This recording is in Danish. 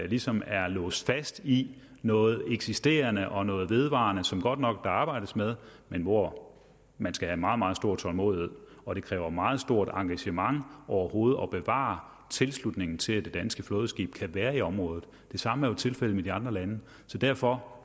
ligesom at være låst fast i noget eksisterende og noget vedvarende som der godt nok arbejdes med men hvor man skal have meget meget stor tålmodighed og det kræver meget stort engagement overhovedet at bevare tilslutningen til at det danske flådeskib kan være i området det samme er jo tilfældet med de andre lande så derfor